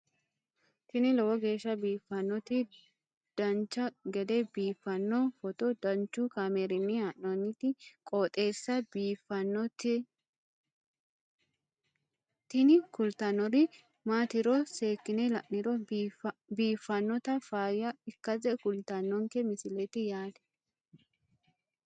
tini lowo geeshsha biiffannoti dancha gede biiffanno footo danchu kaameerinni haa'noonniti qooxeessa biiffannoti tini kultannori maatiro seekkine la'niro biiffannota faayya ikkase kultannoke misileeti yaate